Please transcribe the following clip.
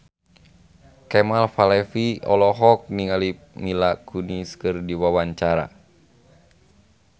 Kemal Palevi olohok ningali Mila Kunis keur diwawancara